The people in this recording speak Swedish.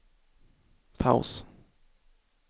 paus